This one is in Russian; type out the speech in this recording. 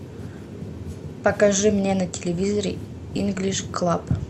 покажи мне на телевизоре инглиш клаб